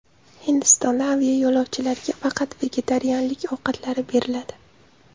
Hindistonda aviayo‘lovchilarga faqat vegetarianlik ovqatlari beriladi.